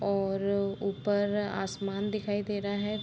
और ऊपर मे आसमान दिखाई दे रहा है।